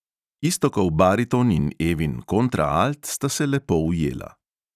Iztokov bariton in evin kontraalt sta se lepo ujela.